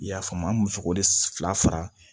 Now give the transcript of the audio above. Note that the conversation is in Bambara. I y'a faamu an bɛ sogo de fila fara